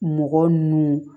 Mɔgɔ ninnu